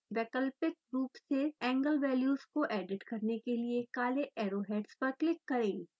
वैकल्पिक रूप से एंगल वैल्यूज़ को एडिट करने के लिए काले एरोहेड्स पर क्लिक करें